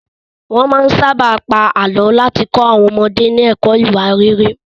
Wọ́n máa ń sábà pa àlọ́ láti kọ́ àwọn ọmọdé ní ẹ̀kọ́ ìwà rere.